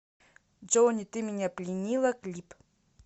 джони ты меня пленила клип